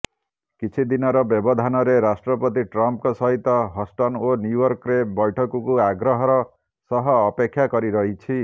କିଛିଦିନର ବ୍ୟବଧାନରେ ରାଷ୍ଟ୍ରପତି ଟ୍ରମ୍ପଙ୍କ ସହିତ ହଷ୍ଟନ ଓ ନ୍ୟୁୟର୍କରେ ବୈଠକୁ ଆଗ୍ରହର ସହ ଅପେକ୍ଷା କରି ରହିଛି